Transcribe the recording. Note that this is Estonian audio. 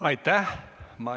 Aitäh!